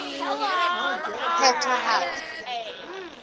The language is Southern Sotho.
phethahatso